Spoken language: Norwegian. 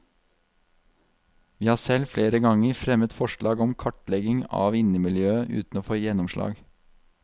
Vi har selv flere ganger fremmet forslag om kartlegging av innemiljøet uten å få gjennomslag.